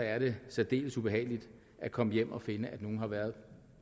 er det særdeles ubehageligt at komme hjem og finde at nogen har været